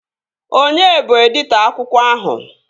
Onye bụ editọ akwụkwọ ahụ?